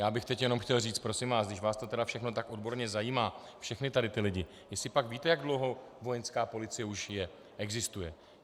Já bych teď jenom chtěl říct: Prosím vás, když vás to tedy všechno tak odborně zajímá, všechny tady ty lidi, jestlipak víte, jak dlouho Vojenská policie už je, existuje?